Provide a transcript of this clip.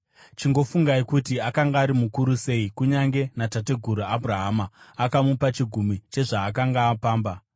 Chingofungai kuti akanga ari mukuru sei. Kunyange natateguru Abhurahama akamupa chegumi chezvaakanga apamba!